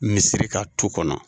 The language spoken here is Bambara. Misiri kan tu kɔnɔ